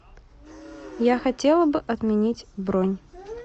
я хотела бы отменить бронь